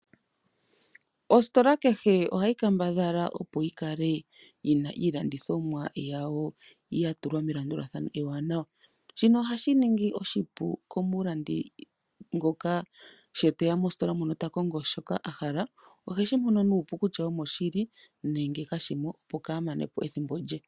Ositola kehe ohayi kambadhala opo yikale yina iilandithonwa yawo yatulwa melandulathano ewanawa. Shino ohashi ningi oshipu komulandi ngoka sho teya mositola mono takongo shoka ahala oheshi mono nuupu kitya omoshili nenge kashimo opo kaamanepo edhimbo lye.